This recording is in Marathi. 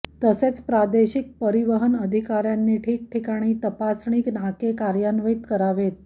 तसेच प्रादेशिक परिवहन अधिकाऱ्यांनी ठिकठिकाणी तपासणी नाके कार्यान्वित करावेत